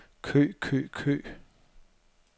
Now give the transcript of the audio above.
kø kø kø